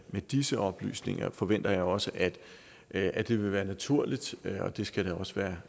med disse oplysninger forventer jeg også at at det vil være naturligt og det skal også være